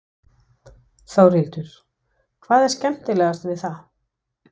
Þórhildur: Hvað er skemmtilegast við það?